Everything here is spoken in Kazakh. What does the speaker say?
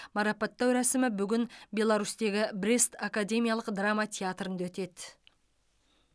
марапаттау рәсімі бүгін беларусьтегі брест академиялық драма театрында өтеді